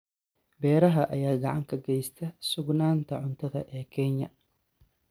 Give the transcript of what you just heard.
Beeraha ayaa gacan ka geysta sugnaanta cuntada ee Kenya.